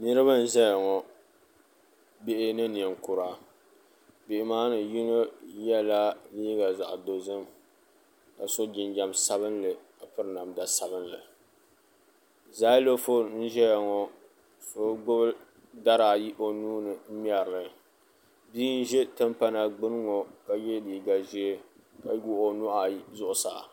niriba n-zaya ŋɔ bihi ni niŋkura bihi maa ni yino yela liiɡa zaɣ' dɔzim ka so jinjan' sabinli ka piri namda sabinli zaalifoon n-ʒeya ŋɔ so ɡbubi dari ayi o nuu ni n-ŋmɛri li bia n-ʒe timpana ɡbuni ŋɔ ka ye liiɡa ʒee ka wuɣi o nuhi ayi zuɣusaa